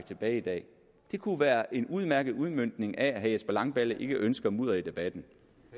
tilbage det det kunne være en udmærket udmøntning af at herre jesper langballe ikke ønsker mudder i debatten